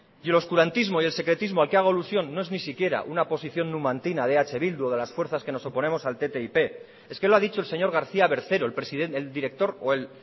y el oscurantismo y el secretismo al que hago alusión no es ni siquiera una posición numantina de eh bildu o de las fuerzas que nos oponemos al ttip es que lo ha dicho señor garcía bercero el director o el